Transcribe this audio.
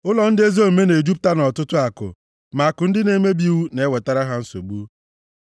Ụlọ ndị ezi omume na-ejupụta nʼọtụtụ akụ, ma akụ ndị na-emebi iwu na-ewetara ha nsogbu.